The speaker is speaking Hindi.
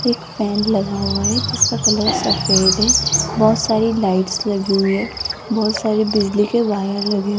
एक फैन लगा हुआ है जिसका कलर सफेद है बहुत सारी लाइट्स लगी हुई है बहुत सारी बिजली के वायर लगे --